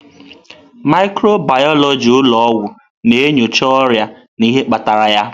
Mikrobiyọlojị ụlọ ọgwụ na-enyocha ọrịa na ihe kpatara ya.